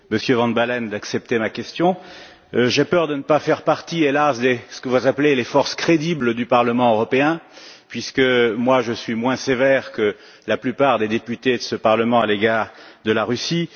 Monsieur van Baalen, je vous remercie d'accepter ma question. J'ai peur de ne pas faire partie, hélas, de ce que vous appelez les forces crédibles du Parlement européen puisque je suis moins sévère que la plupart des députés de ce Parlement à l'égard de la Russie.